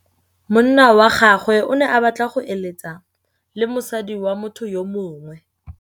Monna wa gagwe o ne a batla go êlêtsa le mosadi wa motho yo mongwe.